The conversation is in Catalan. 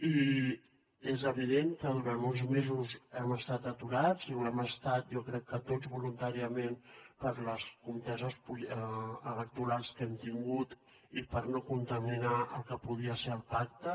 i és evident que durant uns mesos hem estat aturats i ho hem estat jo crec que tots voluntàriament per les conteses electorals que hem tingut i per no contaminar el que podia ser el pacte